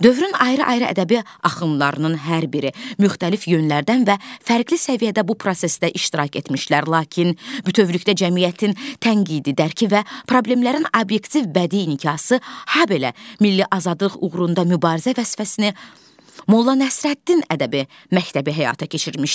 Dövrün ayrı-ayrı ədəbi axınlarının hər biri müxtəlif yönlərdən və fərqli səviyyədə bu prosesdə iştirak etmişlər, lakin bütövlükdə cəmiyyətin tənqidi dərki və problemlərin obyektiv bədi niqası, habelə milli azadlıq uğrunda mübarizə vəsfəsini Molla Nəsrəddin ədəbi məktəbi həyata keçirmişdi.